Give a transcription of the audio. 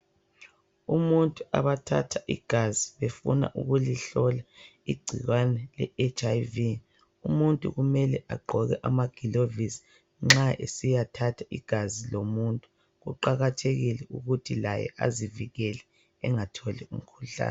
Umuntu abathatha igazi befuna ukulihlola igcikwane le HIV. Umuntu kumele agqoke amagilovisi nxa esiyathatha igazi kuqakathekile ukuthi laye azivikele angatholi igcikwane.